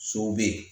Sow be ye